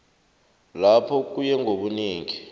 lapho kuye ngobunengi